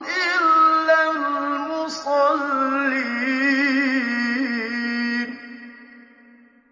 إِلَّا الْمُصَلِّينَ